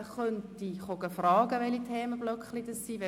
Man kann mich fragen, welche Themenblöcke gebildet werden.